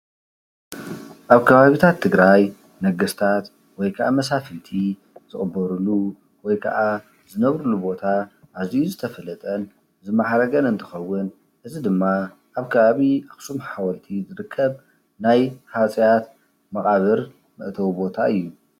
ኣብ ከባቢታት ትግራይ ነገስታት ወይ ክዓ መሳፍንቲ ዝቅበርሉ ወይ ክዓ ዝነብሩሉ ቦታ ኣዝዩ ዝተፈለጠን ዝማዕረገን እንትኸዉን እዚ ድማ ኣብ ከባቢ ኣኸሱም ሓወልቲ ዝርከብ ናይ ሃፀያት መቃብር መእተዊ ቦታ እዩ፡፡